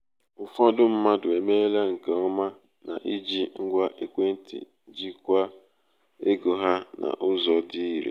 ụfọdụ mmadụ emeela nke ọma n’iji ngwa ekwentị jikwaa ego ha n'ụzọ dị irè.